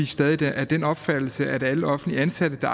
stadig af den opfattelse at alle offentligt ansatte der